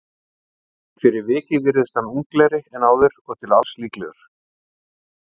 En fyrir vikið virðist hann unglegri en áður og til alls líklegur.